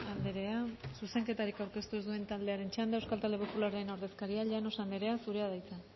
andrea zuzenketarik aurkeztu ez duen taldearen txanda euskal talde popularraren ordezkaria llanos andrea zurea da hitza